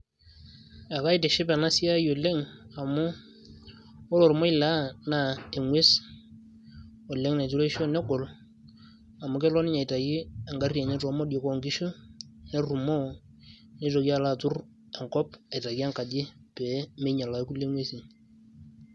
Ekaitiship enasiai oleng' amu ore ormoilaa na eng'ues oleng' naitureusho negol, amu kelo ninye aitayu egarri enye temodioi onkishu, nerrumoo, nitoki alo atur enkop aitaki enkaji pe minyal ake kulie ng'uesin.